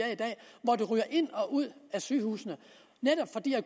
ryger ind og ud af sygehusene netop fordi